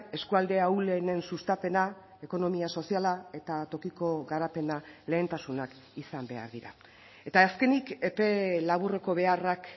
eskualde ahulenen sustapena ekonomia soziala eta tokiko garapena lehentasunak izan behar dira eta azkenik epe laburreko beharrak